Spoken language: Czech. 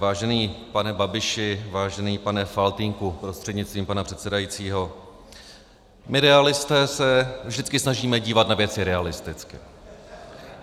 Vážený pane Babiši, vážený pane Faltýnku prostřednictvím pana předsedajícího, my Realisté se vždycky snažíme dívat na věci realisticky.